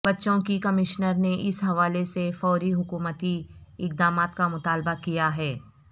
بچوں کی کمشنر نے اس حوالے سے فوری حکومتی اقدامات کا مطالبہ کیا ہے